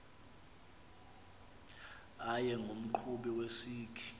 abe ngumqhubi wesikhi